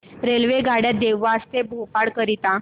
रेल्वेगाड्या देवास ते भोपाळ करीता